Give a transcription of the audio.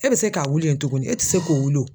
E bɛ se k'a wili yen tuguni? E ti se k'o wili o.